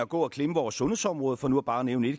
gå og klemme vores sundhedsområde for nu bare at nævne